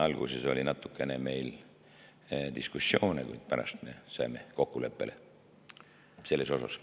Alguses oli natukene meil diskussioone, kuid pärast me saime kokkuleppele selles osas.